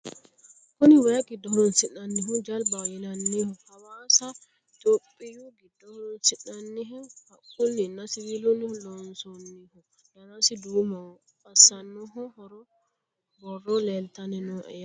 kuni way giddo horoonsi'nannihu jalbaho yinanniho hawasa rthiyiopiyu giddo horoonsi'nanniho haqqunninna siwilunni loonsoonniho danasi duumoho asnaho borro leeltanni nooe yaate